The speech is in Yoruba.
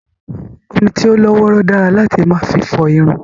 Omi tí ó lọ́ wọ́rọ́ dára láti máa fi fọ irun